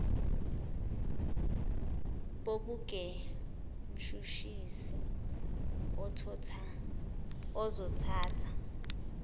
bobuge mshushisi uzothatha